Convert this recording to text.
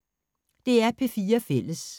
DR P4 Fælles